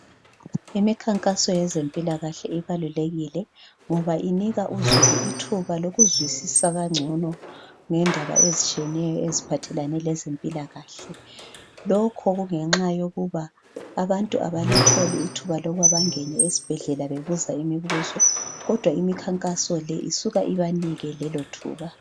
Imikhankaso yezempilakahle ibalulekile ngoba inika uzulu ithuba lokuzwisisa kangcono ngendaba ezitshiyeneyo eziphathelane lezempilakahle. Lokhu kungenxa yokuba abantu abalitholi ithuba lokuba bangena esibhedlela bebuza imibuzo kodwa imikhankaso le isuka ibanike lelo thuba.